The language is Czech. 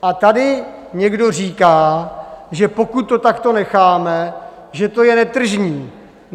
A tady někdo říká, že pokud to takto necháme, že to je netržní.